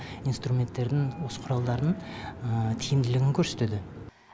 инструменттердің осы құралдардың тиімділігін көрсетеді